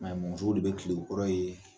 musow de bɛ kile o kɔrɔ ye.